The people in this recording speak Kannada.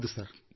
ಹೌದು ಸರ್